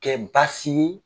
Kɛ baasi ye